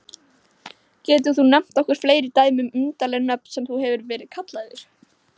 Getur þú nefnt okkur fleiri dæmi um undarleg nöfn sem þú hefur verið kallaður?